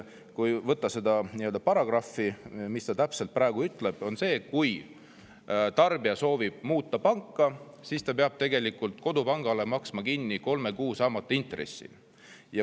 Kui võtta see paragrahv, siis praegu see ütleb, et kui tarbija soovib panka muuta, siis ta peab tegelikult kodupangale maksma kolme kuu intressi, mis sel saamata jääb.